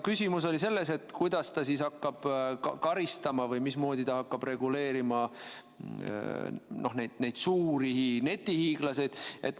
Küsimus oli ka selles, kuidas ta hakkab karistama või mismoodi ta hakkab reguleerima neid suuri netihiiglasi.